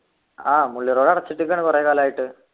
ആഹ് മുള്ളി road അടച്ചിട്ടേക്കു ആണ് കുറെ കാലായിട്ട്